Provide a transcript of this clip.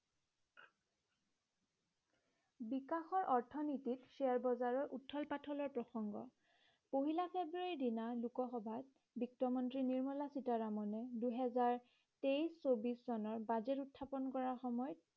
বিকাশৰ অৰ্থনীতিত share বজাৰৰ উত্থল পাত্থলৰ প্ৰসঙ্গ। পহিলা ফেব্ৰূৱাৰীৰ দিনা লোকসভাত বিত্তমন্ত্ৰী নিৰ্মলা সীতাৰমনে দুহেজাৰ তেইশ ছৌব্বিশ চনৰ বাজেট উত্থাপন কৰাৰ সময়ত